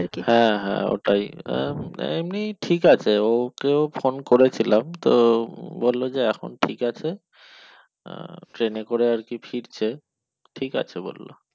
হ্যাঁ হ্যাঁ ওটাই এমনি ঠিক আছে ওকেও ফোন করেছিলাম তো বলল যে এখন ঠিক আছে আহ ট্রেনে করে আরকি ফিরছে ঠিক আছে বলল।